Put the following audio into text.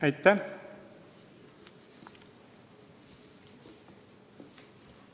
Aitäh!